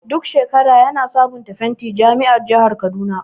Duk shekara yana sabunta fentin jami'an jahar kaduna.